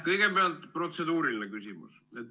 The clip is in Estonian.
Kõigepealt protseduuriline küsimus.